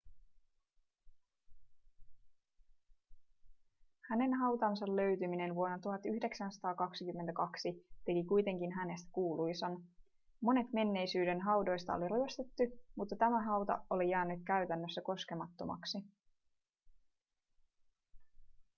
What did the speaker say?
hänen hautansa löytyminen vuonna 1922 teki kuitenkin hänestä kuuluisan monet menneisyyden haudoista oli ryöstetty mutta tämä hauta oli jäänyt käytännössä koskemattomaksi